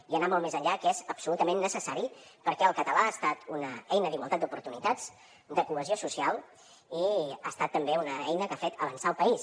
i anar molt més enllà que és absolutament necessari perquè el català ha estat una eina d’igualtat d’oportunitats de cohesió social i ha estat també una eina que ha fet avançar el país